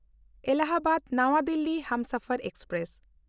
ᱮᱞᱟᱦᱟᱵᱟᱫ–ᱱᱟᱣᱟ Delhi Humsafar express